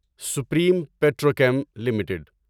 supreme Petrochem limited